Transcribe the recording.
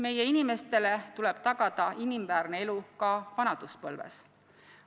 Meie inimestele tuleb tagada inimväärne elu ka vanaduspõlves.